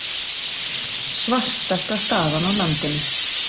Svartasti staður á landinu